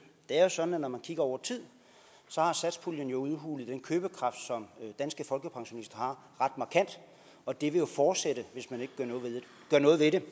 er jo sådan at når man ser over tid har satspuljen jo udhulet den købekraft som danske folkepensionister har ret markant og det vil jo fortsætte hvis man ikke gør noget ved det